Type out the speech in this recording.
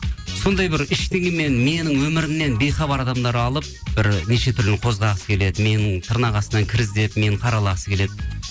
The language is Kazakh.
сондай бір ештеңемен менің өмірімнен бейхабар адамдар алып бір нешетүрліні қозғағысы келеді мені тырнақ астынан кір іздеп мені қаралағысы келеді